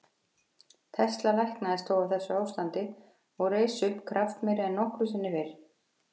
Tesla læknaðist þó af þessu ástandi og reis upp kraftmeiri en nokkru sinni fyrr.